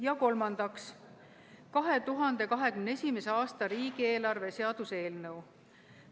Ja kolmandaks, 2021. aasta riigieelarve seaduse eelnõu.